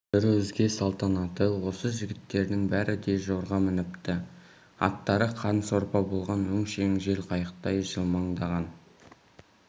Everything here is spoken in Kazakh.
бір өзге салтанаты осы жігіттердің бәрі де жорға мініпті аттары қан сорпа болған өңшең жел қайықтай жылмаңдаған